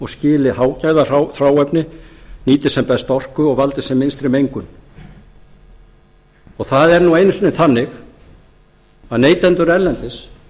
skili hágæðahráefni nýti sem best orku og valdi sem minnstri mengun það er nú einu sinni þannig að neytendur erlendis